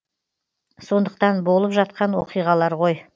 сондықтан болып жатқан оқиғалар ғой